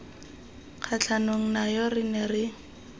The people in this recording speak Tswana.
kgatlhanong nayo re ne re